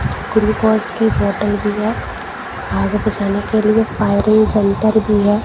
Glucose की बोतल भी है आगे बचाने के लिए फायर जंतर भी है।